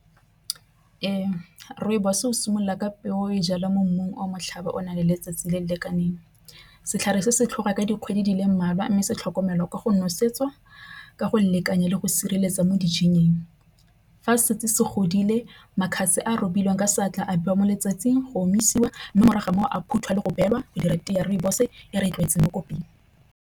Rooibos o simolola ka peo e jalwa mo mmung o motlhaba o na le letsatsi le le lekaneng. Setlhare se se tlhoka ka dikgwedi di le mmalwa mme se tlhokomelo ka go nosetsa ka go leka nnyaa le go sireletsa mo . Fa se tse se godile makgabe a robiwang ka seatla a beiwa mo letsatsing go omisiwa mme morago ga moo a phutha le go beelwa go dira tee ya rooibos e re e tlwaetseng mo koping.